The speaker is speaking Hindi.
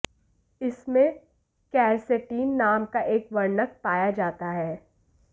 इनमें केरसेटीन नाम का एक वर्णक पाया जाता है